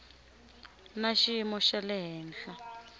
na xiyimo xa le henhla